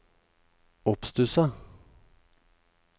oppstusset